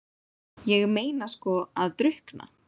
Ég meina sko að drukkna?